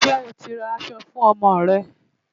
Ṣé o ti ra aṣọ fún ọmọ rẹ?